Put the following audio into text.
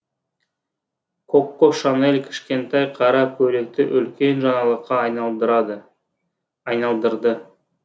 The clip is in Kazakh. коко шанель кішкентай қара көйлекті үлкен жаңалыққа айналдырды